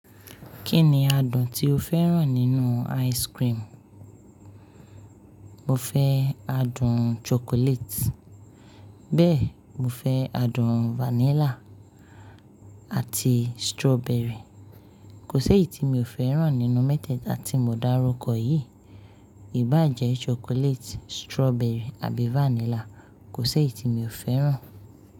Kí ni adùn tí ó fẹ́ràn nínú ice cream? Mo fẹ́ adùn chocolate. Bẹ́ẹ̀, mo fẹ́ adùn vanilla àti strawberry. Kò sí èyí tí mi ò fẹ́ràn nínú mẹ́tẹ̀ẹ̀ta tí mo dárúkọ yìí. Ìbá jẹ́ chocolate, strawberry àbí vanilla, kò si èyì tí mi ò fẹ́ràn.